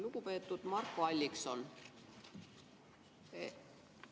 Lugupeetud Marko Allikson!